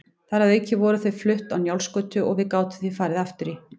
Þar að auki voru þau flutt á Njálsgötu og við gátum því farið aftur í